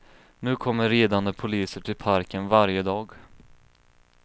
Nu kommer ridande poliser till parken varje dag.